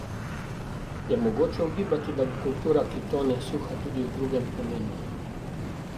Je mogoče ugibati, da bo kultura, ki tone, suha tudi v drugem pomenu?